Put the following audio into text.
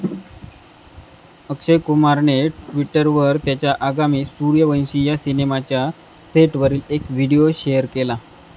अक्षय कुमारने ट्विटरवर त्याच्या आगामी सूर्यवंशी या सिनेमाच्या सेटवरील एक व्हिडीओ शेअर केला.